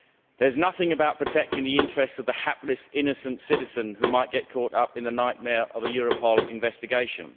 There is nothing about protecting the interests of the hapless, innocent citizen who might get caught up in the nightmare of a Europol investigation.